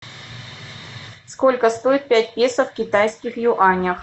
сколько стоит пять песо в китайских юанях